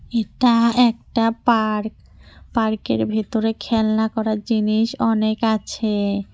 এটা একটা পার্ক পার্কের ভেতরে খেলনা করার জিনিস অনেক আছে।